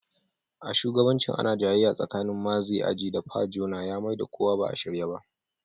A shugabancin ana jayayya tsakanin Maazi Aji da Pa Jona ya Mai da kuwa ba a shirye ba.